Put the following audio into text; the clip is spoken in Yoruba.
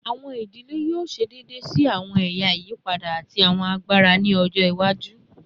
Awọn idile yoo ṣe deede si awọn ẹya iyipada ati awọn agbara ni ọjọ iwaju